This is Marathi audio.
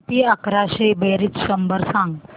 किती अकराशे बेरीज शंभर सांग